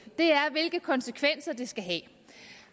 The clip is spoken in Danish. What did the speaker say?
er hvilke konsekvenser det skal have